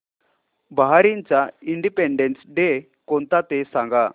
बहारीनचा independence day कोणता ते सांगा